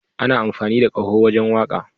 Ana amfani da kaho wajen waka.